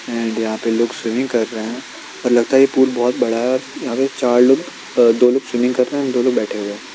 And यहाँ पे लोग स्विंमिंग कर रहे है लगता है ये पूल बहोत बड़ा है यहाँ पर चार लोग अ दो लोग स्विंमिंग कर रहे है और दो लोग बैठे हुए हैं।